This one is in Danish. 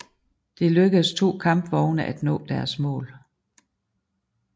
Det lykkedes to kampvogne at nå deres mål